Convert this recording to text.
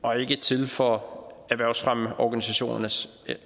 og ikke til for erhvervsfremmeorganisationernes